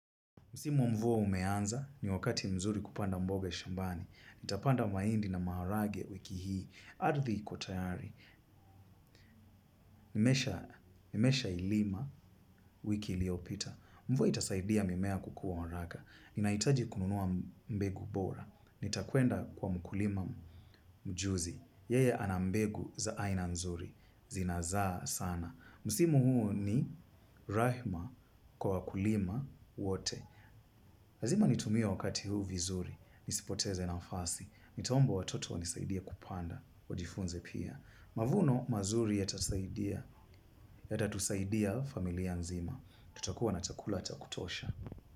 Musimu wa mvua umeanza, ni wakati mzuri kupanda mboga shambani. Nitapanda mahindi na maharagwe wiki hii. Ardhi iko tayari. Nimeshailima wiki iliyopita. Mvua itasaidia mimea kukua haraka. Ninahitaji kununua mbegu bora. Nitakwenda kwa mkulima mjuzi. Yeye ana mbegu za aina nzuri. Zinazaa sana. Musimu huu ni rahima kwa wakulima wote. Lazima nitumie wakati huu vizuri. Nisipoteze nafasi. Nitaomba watoto wanisaidie kupanda. Wajifunze pia. Mavuno mazuri yatatusaidia familia nzima. Tutakuwa na chakula cha kutosha.